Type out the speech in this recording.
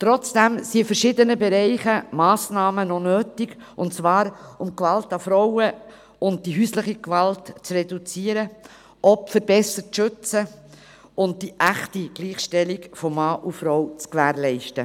Trotzdem sind in verschiedenen Bereichen Massnahmen noch notwendig und zwar, um Gewalt an Frauen und die häusliche Gewalt zu reduzieren, Opfer besser zu schützen und die echte Gleichstellung von Mann und Frau zu gewährleisten.